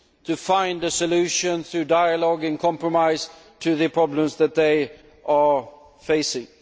to find a solution through dialogue and compromise to the problems that they are facing.